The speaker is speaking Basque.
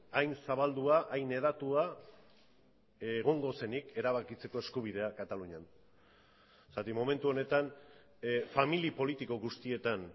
hain zabaldua hain hedatua egongo zenik erabakitzeko eskubidea katalunian zergatik momentu honetan familia politiko guztietan